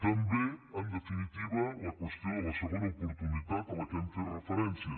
també en definitiva la qüestió de la segona oportunitat a què hem fet referència